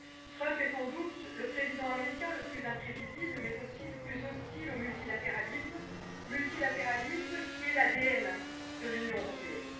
Trump est sans doute le président américain le plus imprévisible, mais aussi le plus hostile au multilatéralisme, multilatéralisme qui est l'ADN de l'Union européenne.